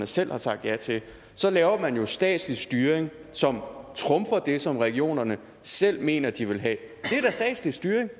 selv har sagt ja til så laver man jo statslig styring som trumfer det som regionerne selv mener at de vil have